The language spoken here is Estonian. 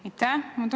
Aitäh!